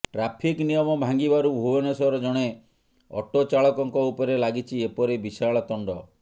traffic ନିୟମ ଭାଙ୍ଗିବାରୁ ଭୁବନେଶ୍ୱର ଜଣେ ଅଟୋ ଚାଳକଙ୍କ ଉପରେ ଲାଗିଛି ଏପରି ବିଶାଳ ତଣ୍ଡ